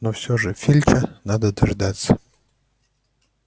но всё же филча надо дождаться